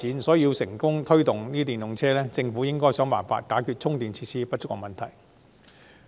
所以，政府若要推動電動車，便應設法解決充電設施不足的問題。